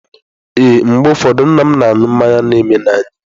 Ee, mgbe ụfọdụ nna m na-aṅụ mmanya na eme n'anya.